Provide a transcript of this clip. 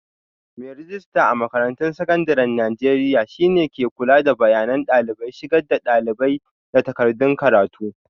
Mai rejista a makarantun sakandaren Najeriya shi ne ke kula da bayanan dalibai, shigar da dalibai, da takardun karatu.